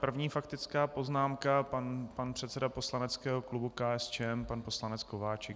První faktická poznámka pan předseda poslaneckého klubu KSČM, pan poslanec Kováčik.